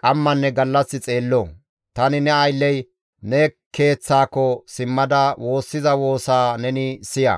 qammanne gallas xeello. Tani ne aylley ne Keeththaako simmada woossiza woosaa neni siya.